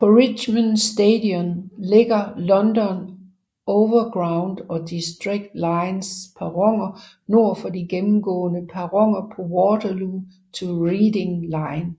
På Richmond Station ligger London Overground og District lines perroner nord for de gennemgående perroner på Waterloo to Reading line